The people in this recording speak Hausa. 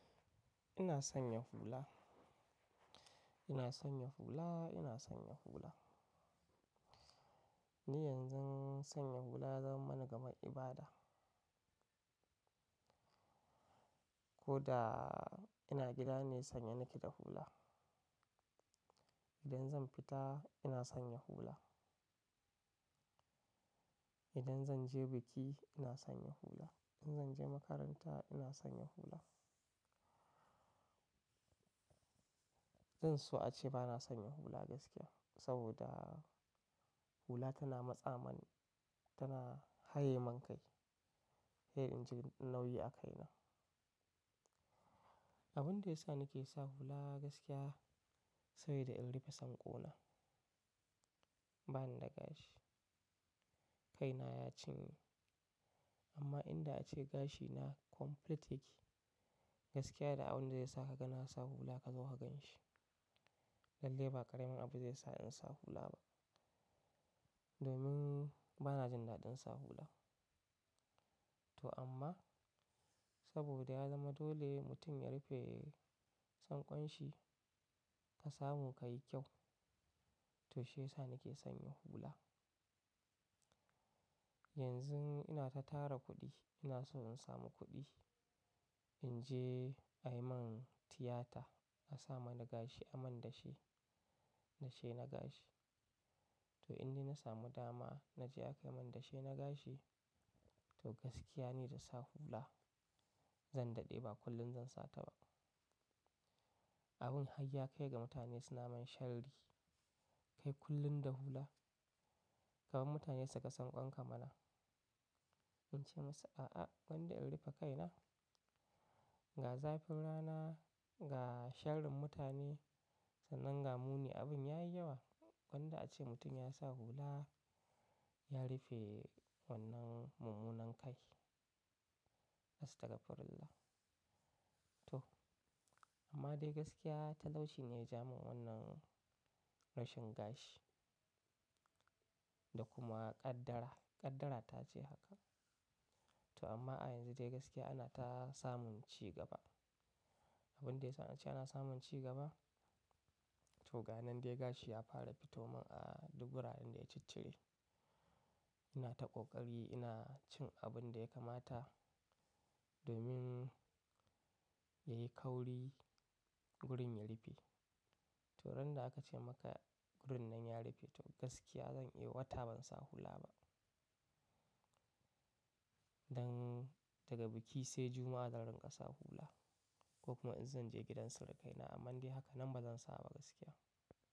Ina son yin hula. Ina son yin hula, ina son yin hula. Ni yanzu sanya hula ya zama mana kamar ibada. Ko da ina gida ne, sanye nake da hula. Idan zan fita ina sanya hula. Idan zan je biki ina sanya hula. Idan zan je makaranta ina sanya hula. Zan so a ce ba na sanya hula gaskiya, saboda hula tana matsa man, tana haye man kai. Sai inji nauyi a kaina. Abin da ya sa nake sa hula gaskiya, saboda in rufe sanƙona. Ba ni da gashi. Kaina ya cinye. Amma inda ace gashina complete yake, gaskiya da abin da sai sa ka ga na sa hula ka zo ka gan shi. Lalle ba ƙaramin abu zai sa in sa hula ba. Domin ba na jin daɗin sa hula. To amma saboda ya zama dole mutum ya rufe sanƙon shi ka samu ka yi kyau, to shi yasa nake sanya hula. Yanzu ina ta tara kuɗi, ina so in samu kuɗi in je a yi min tiyata a samin gashi, a min dashe. Dashe na gashi. To inde na samu dama na je aka yi min dashe na gashi, to gaskiya ni da sa hula. Zan daɗe ba kullum zan sa ta ba. Abin harya kai ga mutane suna mun sharri. Kai kullum da hula. Kafin mutane suka sanƙon ka mana. Ince musu a'a, gwanda in rufe kaina. Ga zafin rana, ga sharrin mutane, sannan ga muni abin ya yi yawa. Gwanda ace mutum ya sa hula, ya rufe wannan mummunan kai. Astaghfirullah to amma dai gaskiya talauci ne ya ja min wannan rashin gashi da kuma ƙaddara, ƙaddara ta ce haka. To amma a yanzu dai gaskiya ana ta samun cigaba. Abin da ya sa na ce ana samun cigaba, to ga nan dai gashi ya fara fito mun a dubura inda ya ciccire. Ina ta ƙoƙari ina cin abin da ya kamata domin ya yi kauri gurin ya rufe. To ran da aka ce maka gurin nan ya rufe, to gaskiya zan yi wata ban sa hula ba. Dan daga biki sai Juma'a zan rinƙa sa hula. Ko kuma in zan je gidan surukai na, amma dai haka nan ba zan sa ba gaskiya.